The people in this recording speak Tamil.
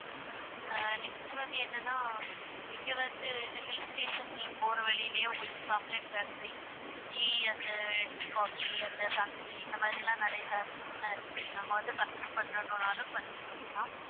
ஆஹ் next வந்து என்னன்னா இங்க வந்து இந்த hill station போற வழியிலேயே உங்களுக்கு chocolate factory, tea அந்த tea, coffee அந்த factory இந்த மாதிரி எல்லாம் நிறைய factories லாம் இருக்கு நீங்க அங்க வந்து purchase பண்றதுனாலும் purchase பண்ணிக்கலாம்